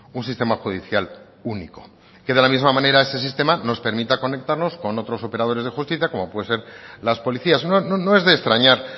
un sistema judicial único que de la misma manera ese sistema nos permita conectarnos con otros operadores de justicia como puede ser las policías no es de extrañar